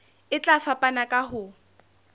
e tla fapana ka ho